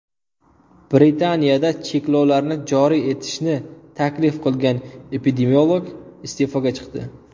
Britaniyada cheklovlarni joriy etishni taklif qilgan epidemiolog iste’foga chiqdi.